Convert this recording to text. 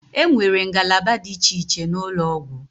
E nwere ngalaba dị iche iche n'ụlọ ọgwụ.